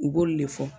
U b'olu de fɔ